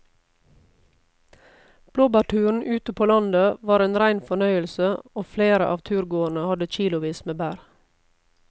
Blåbærturen ute på landet var en rein fornøyelse og flere av turgåerene hadde kilosvis med bær.